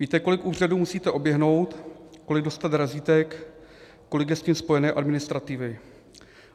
Víte, kolik úřadů musíte oběhnout, kolik dostat razítek, kolik je s tím spojené administrativy.